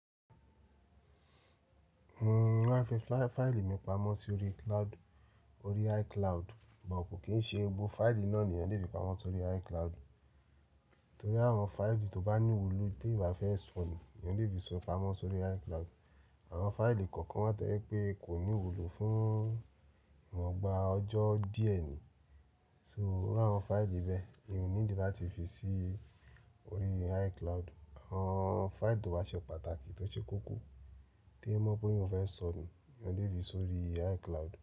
Mo máa fi fáìlì mi pamọ́ sí orí cloud, orí iCloud, bọ̀ kò kì í ṣe gbogbo fáìlì náà ni ì wọ́n lè fi pamọ́ sórí iCloud. Nítorí àwọn fáìlì tó bá ní ìwúlò tí eyàn ò bá fẹ́ sọnu eyàn lè fi sọ pamọ́ sórí iCloud. Àwọn fáìlì kọ̀ọ̀kan wa to je wipé kò ní ìwúlò fún iwọ́n gba ọjọ́ díẹ̀ ni, so iru àwọn fáìlì bẹ́ẹ̀ eyan o need láti fi sí orí iCloud. Àwọn fáìlì tó bá ṣe pàtàkì tó ṣe koko teyan mọ̀ pé eyan o fẹ́ sọnu nìyan lè fi sórí iCloud.